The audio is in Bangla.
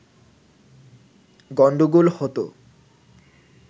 গণ্ডগোল হতো